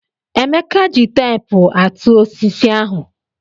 Emeka ji teepu àtụ́ osisi ahụ.